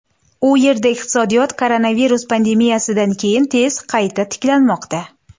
U yerda iqtisodiyot koronavirus pandemiyasidan keyin tez qayta tiklanmoqda.